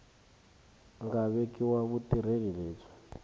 nga vekiwa wa vutirheli lebyi